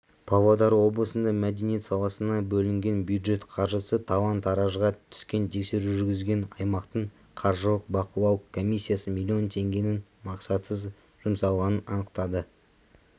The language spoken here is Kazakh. павлодар облысында мәдениет саласына бөлінген бюджет қаржысы талан-таражға түскен тексеру жүргізген аймақтың қаржылық бақылау комиссиясы миллион теңгенің мақсатсыз жұмсалғанын анықтады